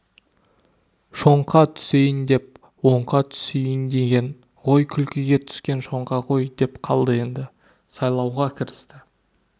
шоңқа түсейін деп оңқа түсейін деген ғой күлкіге түскен шоңқа ғой деп қалды енді сайлауға кірісті